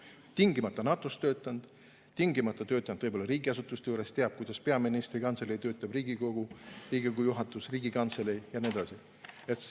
Tingimata NATO‑s töötanud, peaks võib-olla olema töötanud riigiasutustes, peaks teadma, kuidas töötab peaministri kantselei, Riigikogu, Riigikogu juhatus ja nii edasi.